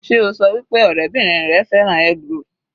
Sé o ṣọ wí pé ọ̀rẹ́bìrin rẹ fẹ́ràn eggroll?